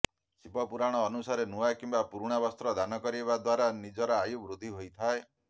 ଶିବ ପୁରାଣ ଅନୁସାରେ ନୂଆ କିମ୍ବା ପୁରୁଣା ବସ୍ତ୍ର ଦାନ କରିବା ଦ୍ୱାରା ନିଜର ଆୟୁ ବୃଦ୍ଧି ହୋଇଥାଏ